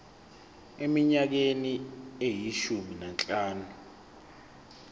eminyakeni eyishumi nanhlanu